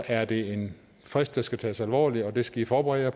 er det en frist der skal tages alvorligt og det skal i forberede